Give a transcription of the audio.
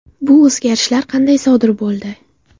Bu o‘zgarishlar qanday sodir bo‘ldi?